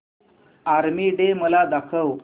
army day मला दाखव